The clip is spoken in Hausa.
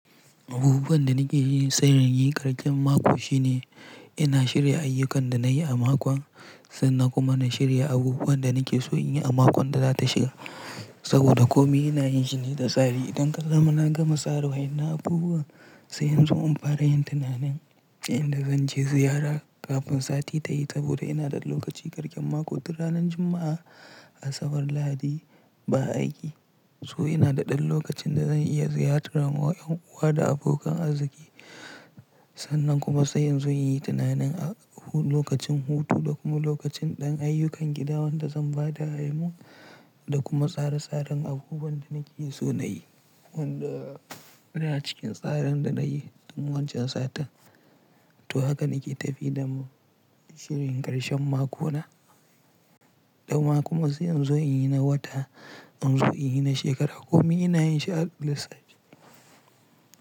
Abubuwan da nake yi sai inyi ƙarshen mako shine ina shirya ayyukan da nayi a makon sannan kuma na shirya abubuwan da nake so in yi a makon da zata shiga. Saboda komi ina yin shi ne da tsari. Idan kaga na gama tsara wani abubuwa sai inzo in fara yin tunanin inda zan je ziyara kafin sati ta yi. Saboda ina da lokaci ƙarshen mako tun ranar Juma'a, Asabar, Lahadi ba aiki. To ina da ɗan lokacin da zan iya ziyartar yan uwa da abokan arziki. Sannan kuma sai yanzu in yi tunanin a lokacin hutu da kuma lokacin ɗan ayyukan gida waɗanda zan ba da aimun. Da kuma tsara tsarin abubuwan da nake so na yi. Wanda suna cikin tsarin da nayi tun wancan satin. To haka nake tafi da shirin ƙarshen makona. Dama kuma sai inzo in yi na wata, inzo in yi na shekara. Komi ina yin shi a lissafi.